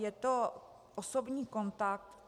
Je to osobní kontakt.